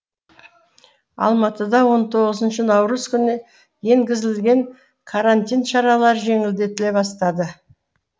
алматыда он тоғызыншы наурыз күні енгізілген карантин шаралары жеңілдетіле бастады